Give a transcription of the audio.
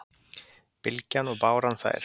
Bylgjan og báran þær